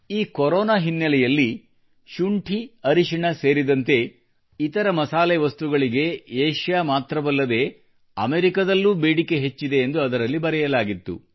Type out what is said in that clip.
ಈ ಕೊರೋನಾ ಹಿನ್ನೆಲೆಯಲ್ಲಿ ಶುಂಠಿ ಅರಿಶಿಣ ಸೇರಿದಂತೆ ಇತರ ಮಸಾಲೆ ವಸ್ತುಗಳಿಗೆ ಏಷ್ಯಾ ಮಾತ್ರವಲ್ಲದೆ ಅಮೆರಿಕದಲ್ಲೂ ಬೇಡಿಕೆ ಹೆಚ್ಚಿದೆ ಎಂದು ಅದರಲ್ಲಿ ಬರೆಯಲಾಗಿತ್ತು